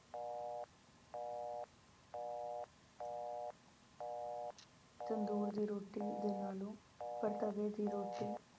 ਤੰਦੂਰ ਦੀ ਰੋਟੀ ਦੇ ਨਾਲੋਂ, ਪਰ ਤਵੇ ਦੀ ਰੋਟੀ